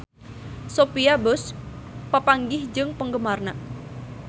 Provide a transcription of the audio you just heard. Sophia Bush papanggih jeung penggemarna